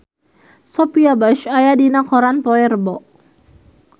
Sophia Bush aya dina koran poe Rebo